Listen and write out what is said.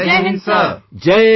All NCC cadets Jai Hind Sir